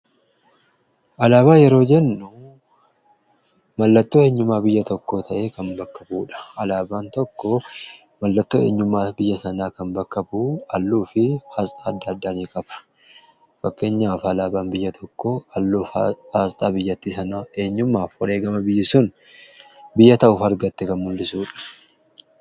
Alaabaa yeroo jennuu mallattoo eenyumaa biyya tokko ta'ee kan bakka bu, udha. alaabaan tokko mallattoo eenyummaa biyya sanaa kan bakkabu alluu fi aasxaa adda addanii qaba fakkeenyaaf alaabaan biyya tokko halluuf aasxaa biyyatti sana eenyumaa fi wareegama biyyi sun biyya ta'uuf argatte kan mul'isuudha.